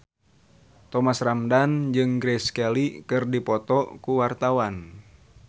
Thomas Ramdhan jeung Grace Kelly keur dipoto ku wartawan